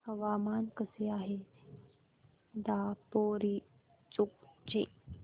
हवामान कसे आहे दापोरिजो चे